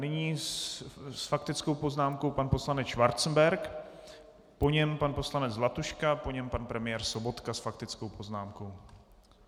Nyní s faktickou poznámkou pan poslanec Schwarzenberg, po něm pan poslanec Zlatuška, po něm pan premiér Sobotka s faktickou poznámkou.